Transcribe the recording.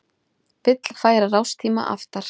Vill færa rástíma aftar